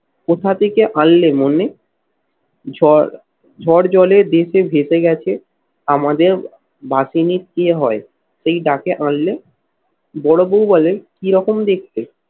কোথা থেকে আনলে মনে? ঝড় ঝড় জলে ভেসে ভেসে গেছে আমাদের বাঁশিনিক কে হয়? সেই ডাকে আনলে? বড় বৌ বলে কিরকম দেখতে?